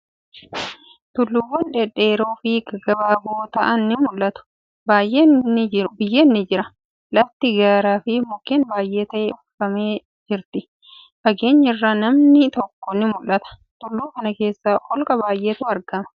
Tulluuwwan dhedheeroo fi gaggabaaboo ta'an ni mul'atu. Biyyeen ni jira. Lafti gaara fi mukkeen baay'ee ta'een uwwifamtee jirti. Fageenya irraa manni tokko ni mul'ata. Tulluu kana keessa holqa baay'etu argama.